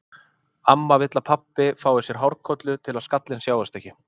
Amma vill að pabbi fái sér hárkollu til að skallinn sjáist ekki.